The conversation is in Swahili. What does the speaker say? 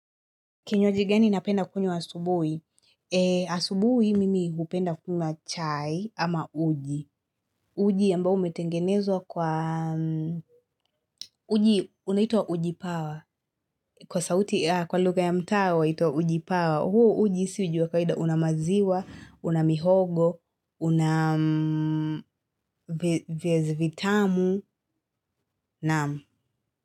Kinywaji gani napenda kunywa asubui? Asubuhi mimi hupenda kunywa chai ama uji. Uji ambao umetengenezwa kwa uji unaitwa ujipawa. Kwa sauti kwa lugha ya mtaa huitwa ujipawa. Huo uji si hujua kawaida unamaziwa, unamihogo, unam viazi vitamu naam.